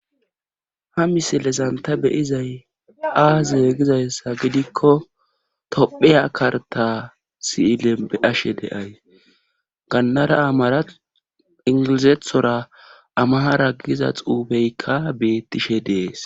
ha misilezanta beyizay aaze gizayssa gidikko topheya karta si7ile beashe deay gannara amara ingilizethora amahara giza xuubeykka beettishe dees